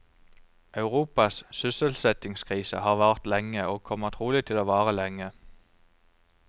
Europas sysselsettingskrise har vart lenge, og kommer trolig til å vare lenge.